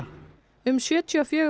um sjötíu og fjögur